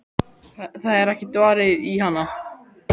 Það er ekkert varið í hana.